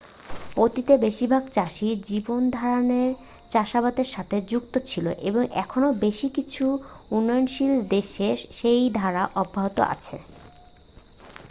অতীতে বেশিরভাগ চাষী জীবনধারণে চাষাবাদের সাথে যুক্ত ছিল এবং এখনও বেশ কিছু উন্নয়নশীল দেশে সেই ধারা অব্যাহত আছে